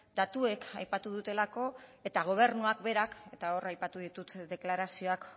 datuek aipatu dutelako eta gobernuak berak eta hor aipatu ditut deklarazioak